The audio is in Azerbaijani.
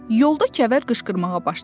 Yolda Kəvər qışqırmağa başladı.